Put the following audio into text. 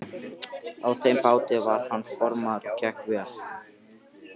Á þeim báti var hann formaður og gekk vel.